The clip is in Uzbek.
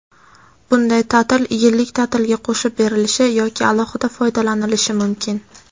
Bunday ta’til yillik ta’tilga qo‘shib berilishi yoki alohida foydalanilishi mumkin.